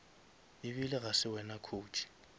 ebile ga se wena coach